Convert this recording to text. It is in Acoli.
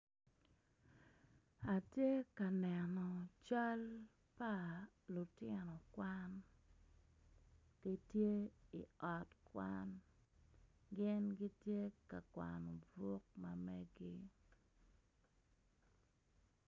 Atye ka neno cal pa lutino kwan gitye i ot kwan gin gitye ka kwano buk ma meggi.